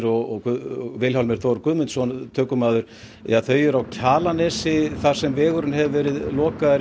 og Vilhjálmur Þór Guðmundsson myndatökumaður eru á Kjalarnesi þar sem vegur hefur verið lokaður